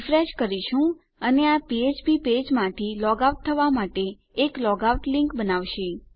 refresh કરીશું અને આ ફ્ફ્પ પેજમાંથી લોગ આઉટ થવા માટે એક લોગ આઉટ લીંક બનાવશે